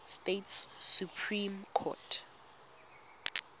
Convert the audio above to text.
states supreme court